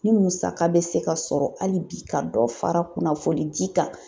Ni musaka bɛ se ka sɔrɔ hali bi ka dɔ fara kunnafoni di kan.